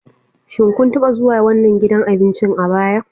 Shin kun taba zuwa wannan gidan abincin a baya?